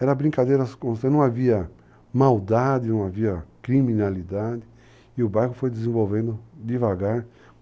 Era brincadeira, não havia maldade, não havia criminalidade, e o bairro foi desenvolvendo devagar.